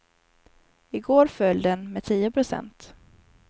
I går föll den med tio procent.